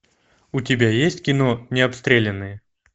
у тебя есть кино необстрелянные